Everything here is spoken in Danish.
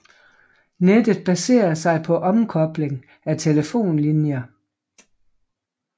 Nettet baserer sig på omkobling af telefonlinjer